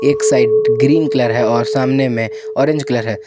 एक side green colour है और सामने में ऑरेंज कलर है।